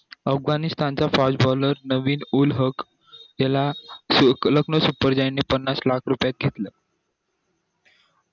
अफगाणिस्तान चा fast baller Naveen ul Haq याला पन्नास लाख रुपयेत घेतलं